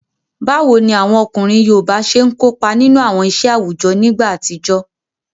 Báwo ni àwọn ọkùnrin yoòbá ṣe n kópa nínú àwọn iṣẹ́ àwùjọ nígbà àtijọ́?